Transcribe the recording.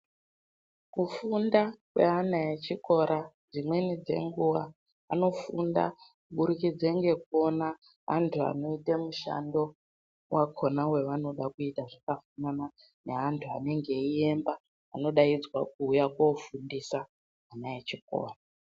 Kufunda kweana echikora dzimweni dzenguwa anofunda kuburikidze ngekuona antu anoita mishando wakona wavanode kuita zvakafanana neanhu anenge eiemba anodaidzwa kuuya koofundisa ana echikora.